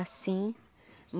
Assim.